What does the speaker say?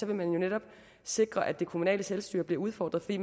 vil man netop sikre at det kommunale selvstyre bliver udfordret fordi